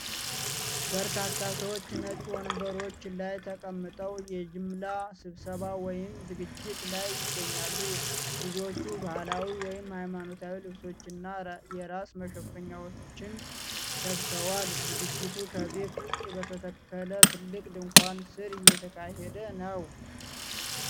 በርካታ ሰዎች ነጭ ወንበሮች ላይ ተቀምጠው የጅምላ ስብሰባ ወይም ዝግጅት ላይ ይገኛሉ። ብዙዎቹ ባህላዊ ወይም ሃይማኖታዊ ልብሶችንና የራስ መሸፈኛዎችን ለብሰዋል። ዝግጅቱ ከቤት ውጪ በተተከለ ትልቅ ድንኳን ስር እየተካሄደ ነው።